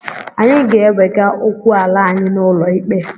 Anyị ga-ewega okwu ala anyị n'ụlọ ikpe.